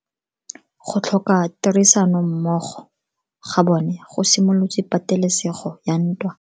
Go tlhoka tirsanommogo ga bone go simolotse patelesego ya ntwa.